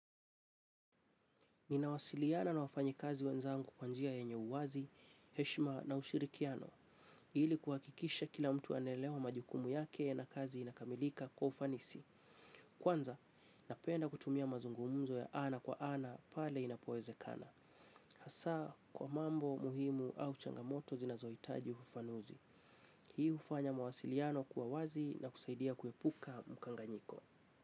Ninawasiliana na wafanyakazi wenzangu kwa njia yenye uwazi, heshima na ushirikiano, ili kuhakikisha kila mtu anaelewa majukumu yake na kazi inakamilika kwa ufanisi. Kwanza, napenda kutumia mazungumzo ya ana kwa ana pale inapowezekana, hasa kwa mambo muhimu au changamoto zinazohitaji ufafanuzi. Hii hufanya mawasiliano kuwa wazi na kusaidia kuepuka mkanganyiko.